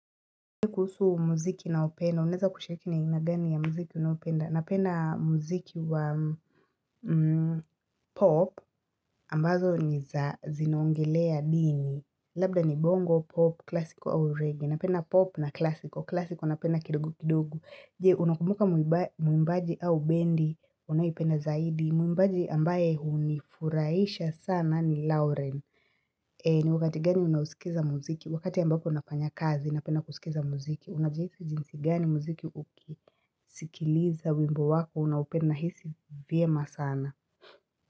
Kuhusu muziki naopenda, unaeza kushiriki na na aina gani ya muziki unaopenda, napenda muziki wa pop ambazo niza zinaongelea dini, labda ni bongo, pop, klasiko au reggae, napenda pop na klasiko, klasiko napenda kidogo kidogo, jee unakumbuka mwimbaji au bendi, unayependa zaidi, mwimbaji ambaye huu ni furahisha sana ni lauren, ni wakati gani unausikiza muziki, wakati ambako nafanya kazi napenda kusikiza muziki Unajihisi jinsi gani muziki uki sikiliza wimbo wako, unaupenda nahisi vyema sana.